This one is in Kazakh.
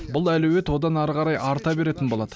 бұл әлеует одан әрі қарай арта беретін болады